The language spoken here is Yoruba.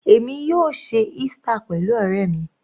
Èmi yóò ṣe Easter pẹ̀lú ọ̀rẹ́ mi.